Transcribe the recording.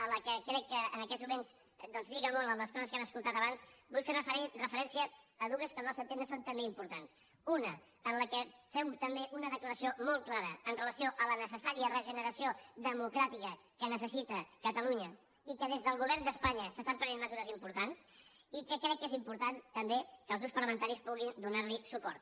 a la que crec que en aquests moments doncs lliga molt amb les coses que hem escoltat abans vull fer referència a dues que al nostre entendre són també importants una en què fem també una declaració molt clara amb relació a la ne·cessària regeneració democràtica que necessita cata·lunya i que des del govern d’espanya s’estan prenent mesures importants i que crec que és important tam·bé que els grups parlamentaris puguin donar·li suport